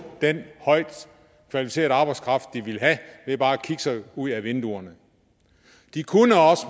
den højt kvalificerede arbejdskraft de ville have ved bare at kigge ud ad vinduerne de kunne